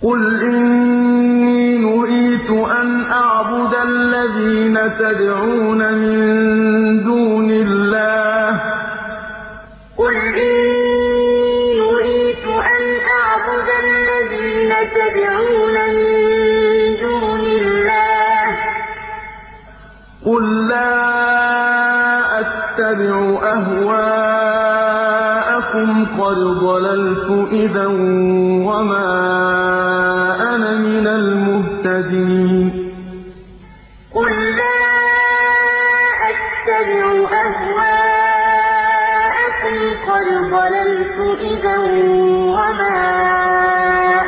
قُلْ إِنِّي نُهِيتُ أَنْ أَعْبُدَ الَّذِينَ تَدْعُونَ مِن دُونِ اللَّهِ ۚ قُل لَّا أَتَّبِعُ أَهْوَاءَكُمْ ۙ قَدْ ضَلَلْتُ إِذًا وَمَا أَنَا مِنَ الْمُهْتَدِينَ قُلْ إِنِّي نُهِيتُ أَنْ أَعْبُدَ الَّذِينَ تَدْعُونَ مِن دُونِ اللَّهِ ۚ قُل لَّا أَتَّبِعُ أَهْوَاءَكُمْ ۙ قَدْ ضَلَلْتُ إِذًا وَمَا